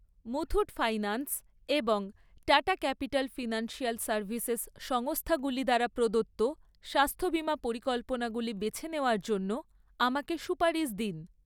Muthoot finance এবং Tata capital financial services সংস্থাগুলি দ্বারা প্রদত্ত স্বাস্থ্য বিমা পরিকল্পনাগুলি বেছে নেওয়ার জন্য আমাকে সুপারিশ দিন।